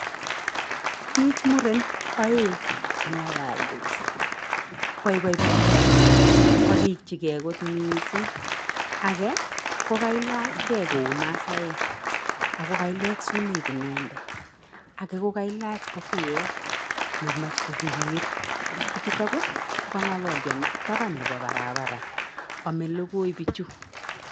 Biich muren oeng che ngalaldos, boiboi bichuto, korikyikei kot mising, age ko kailachkei kou masaek ako kailet sumeek inendet, ake ko kailach kofiet nemach kobirir, bichuto ko kangalalio taban nebo barabara amei logoi bichu.